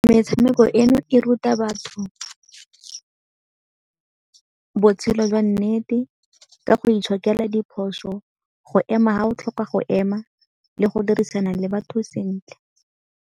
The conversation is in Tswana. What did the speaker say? Metshameko eno e ruta batho botshelo jwa nnete ka go itshokela diphoso, go ema fa o tlhoka go ema le go dirisana le batho sentle.